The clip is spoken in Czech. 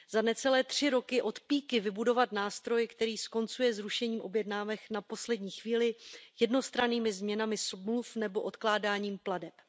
Za necelé tři roky od píky vybudovat nástroj, který skoncuje s rušením objednávek na poslední chvíli, jednostrannými změnami smluv nebo odkládáním plateb.